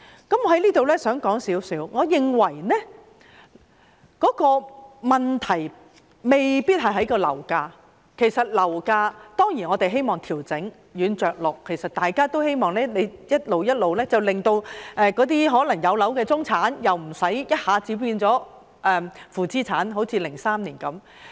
我想在此約略談談，我認為問題未必在於樓價，我們當然想調整樓價，想軟着陸，希望逐步做，不致令有樓的中產人士一下子變成負資產人士，好像2003年的情況般。